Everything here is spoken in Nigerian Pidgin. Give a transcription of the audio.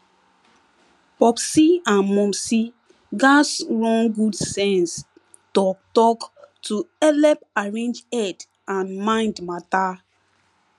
popsi and momsi gatz run good sense talktalk to helep arrange head and mind matter